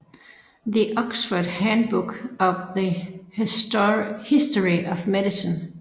The Oxford Handbook of the History of Medicine